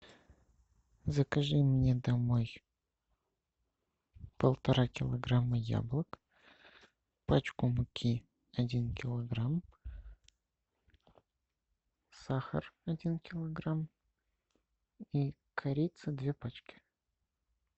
закажи мне домой полтора килограмма яблок пачку муки один килограмм сахар один килограмм и корица две пачки